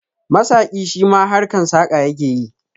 Masaƙi shima harkan saƙa yake yi